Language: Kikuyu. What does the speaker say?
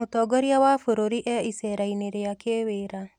Mũtongoria wa bũrũri e icera-inĩ rĩa kĩwĩra